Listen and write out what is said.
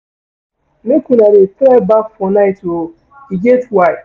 Make una dey try baff for night o, e get why.